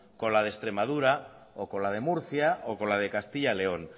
con la de extremadura o con la de murcia o con la de castilla león